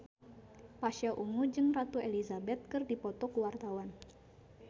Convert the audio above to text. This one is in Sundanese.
Pasha Ungu jeung Ratu Elizabeth keur dipoto ku wartawan